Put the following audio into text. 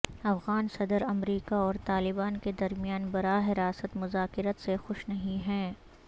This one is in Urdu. افغان صدر امریکہ اور طالبان کے درمیان براہ راست مذاکرات سے خوش نہیں ہیں